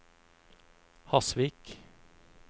Hasvik